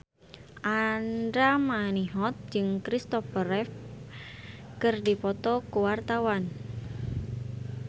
Andra Manihot jeung Christopher Reeve keur dipoto ku wartawan